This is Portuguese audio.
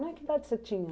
né? Que idade você tinha?